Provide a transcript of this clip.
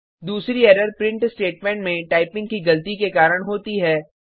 दूसरी error print statement में typing की गलती के कारण होती है